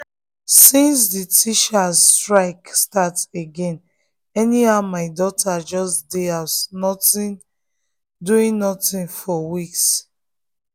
since the teachers strike start again anyhow my daughter just dey house doing nothing for weeks